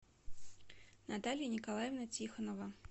наталья николаевна тихонова